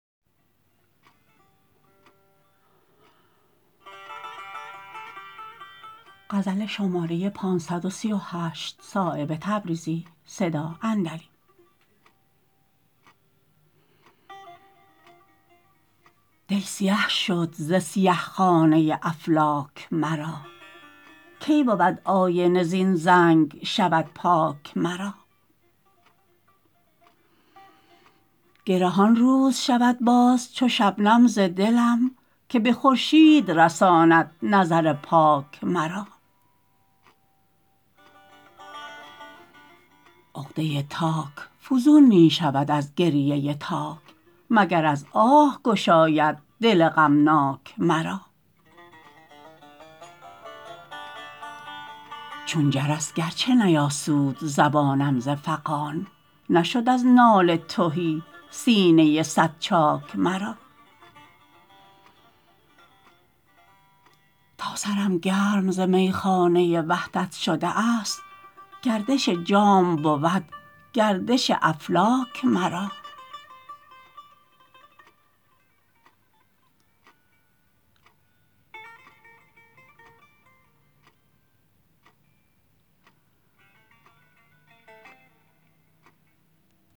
دل سیه شد ز سیه خانه افلاک مرا کی بود آینه زین زنگ شود پاک مرا گره آن روز شود باز چو شبنم ز دلم که به خورشید رساند نظر پاک مرا عقده تاک فزون می شود از گریه تاک مگر از آه گشاید دل غمناک مرا چون جرس گرچه نیاسود زبانم ز فغان نشد از ناله تهی سینه صد چاک مرا تا سرم گرم ز میخانه وحدت شده است گردش جام بود گردش افلاک مرا